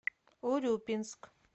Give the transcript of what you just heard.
урюпинск